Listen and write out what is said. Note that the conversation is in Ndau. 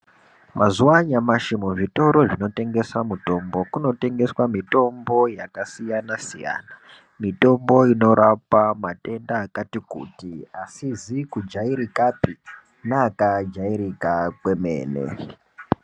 Mazuwa anyamashi muzvitoro zvinotengesa mutombo kunotengeswa mitombo yakasiyana -siyana. Mitombo inorapa matenda akati kuti asizi kujairikapi neakajairika kwemene.